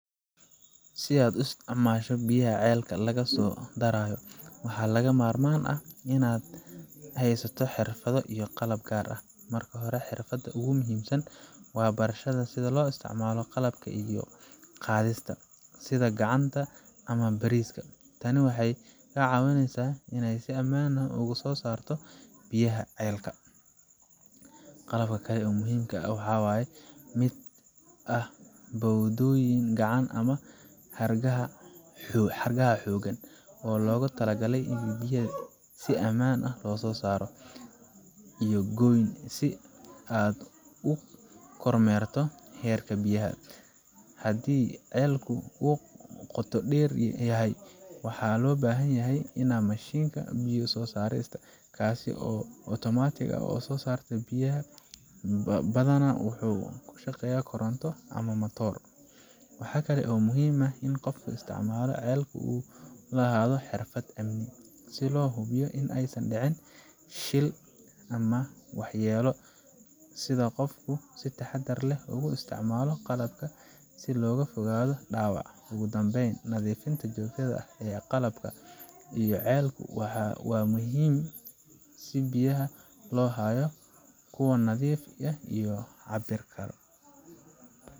Si aad u isticmaasho ceelalka biyaha laga soo dharaayo, waxaa lagama maarmaan ah in aad haysato xirfado iyo qalab gaar ah. Marka hore, xirfadda ugu muhiimsan waa barashada sida loo isticmaalo qalabka biyo qaadista, sida gacanka ama bariiska. Tani waxay kaa caawinaysaa inaad si ammaan ah uga soo saarto biyaha ceelka. Qalabka kale ee muhiimka ah waxaa ka mid ah bawdooyin, gacan ama xargaha xooggan oo loogu talagalay in biyaha si ammaan ah loo soo saaro, iyo goyn si aad u kormeerto heerka biyaha. Haddii ceelku aad u qoto dheer yahay, waxaa loo baahan yahay mashiinka biyo saarista, kaas oo si otomaatig ah u soo saara biyaha, badanaa wuxuu ku shaqeeyaa koronto ama matoor. Waxaa kale oo muhiim ah in qofka isticmaala ceelka uu lahaado xirfad amni, si loo hubiyo in aysan dhicin shilal ama waxyeello, sida in qofku si taxaddar leh ugu isticmaalo qalabka si looga fogaado dhaawac. Ugu dambayn, nadiifinta joogtada ah ee qalabka iyo ceelka waa muhiim si biyaha loo hayo kuwo nadiif ah oo la cabi karo.